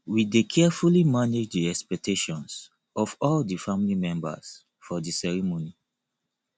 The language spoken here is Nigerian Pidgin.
we dey carefully manage the expectations of all di family members for di ceremony